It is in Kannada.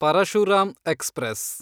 ಪರಶುರಾಮ್ ಎಕ್ಸ್‌ಪ್ರೆಸ್